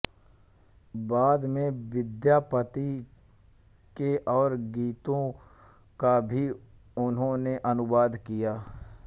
बाद में विद्यापति के और गीतों का भी उन्होंने अनुवाद किया